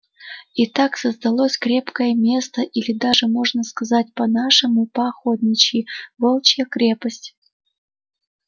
и так создалось крепкое место или даже можно сказать по-нашему по-охотничьи волчья крепость